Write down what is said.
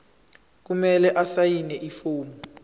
kumele asayine ifomu